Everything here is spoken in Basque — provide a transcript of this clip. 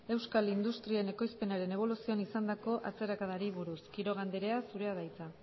euskal industrien ekoizpenaren eboluzioan izandako atzerakadari buruz quiroga andrea zurea da hitza